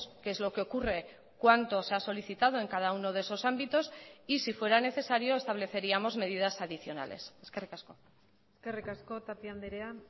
que es lo qué ocurre cuánto se ha solicitado en cada uno de esos ámbitos y si fuera necesario estableceríamos medidas adicionales eskerrik asko eskerrik asko tapia andrea